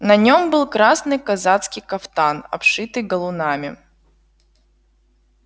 на нем был красный казацкий кафтан обшитый галунами